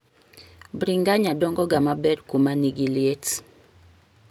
bringanya dongo ga maber kuma nigiliet.